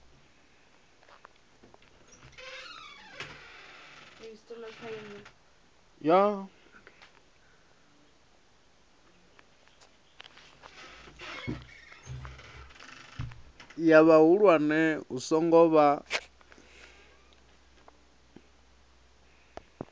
ya vhahulwane hu songo vha